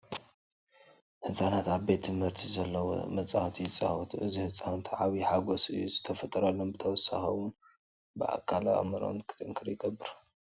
ህፃናት ኣብ ቤት ትምህርቲ ኣብ ዘሎ መፃወቲ ይፃወቱ ኣለዉ፡፡ እዚ ንህፃውንቲ ዓብዪ ሓጐስ እዩ ዝፈጥረሎም፡፡ ብተወሳኺ እውን ብኣካልን ኣእምሮን ክጥንክሩ ይገብር፡፡